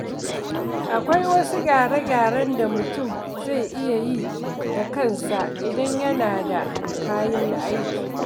Akwai wasu gyare-gyaren da mutum zai iya yi da kansa idan yana da kayan aiki.